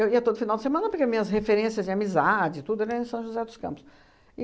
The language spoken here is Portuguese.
ia todo final de semana, porque minhas referências de amizade e tudo era em São José dos Campos.